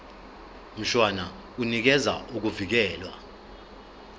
mshwana unikeza ukuvikelwa